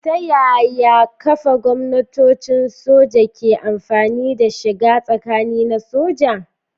Ta yaya kafa gwamnatocin soja ke amfana da shiga tsakani na soja?